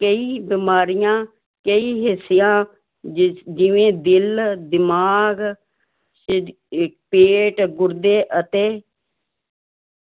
ਕਈ ਬਿਮਾਰੀਆਂ ਕਈ ਹਿੱਸਿਆਂ ਜਿਸ ਜਿਵੇਂ ਦਿਲ ਦਿਮਾਗ ਪੇਟ ਗੁਰਦੇ ਅਤੇ